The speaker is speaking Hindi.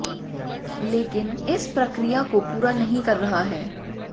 लेकिन इस प्रक्रिया को पूरा नहीं कर रहा है